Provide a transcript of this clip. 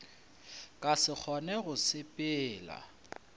ka se kgone go sepela